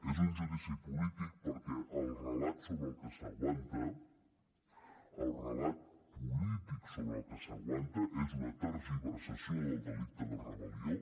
és un judici polític perquè el relat sobre el que s’aguanta el relat polític sobre el que s’aguanta és una tergiversació del delicte de rebel·lió